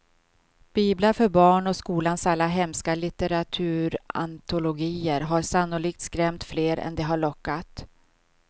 Biblar för barn och skolans alla hemska litteraturantologier har sannolikt skrämt fler än de har lockat.